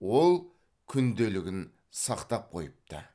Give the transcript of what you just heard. ол күнделігін сақтап қойыпты